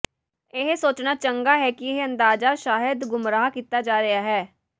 ਇਹ ਸੋਚਣਾ ਚੰਗਾ ਹੈ ਕਿ ਇਹ ਅੰਦਾਜ਼ਾ ਸ਼ਾਇਦ ਗੁੰਮਰਾਹ ਕੀਤਾ ਜਾ ਰਿਹਾ ਹੈ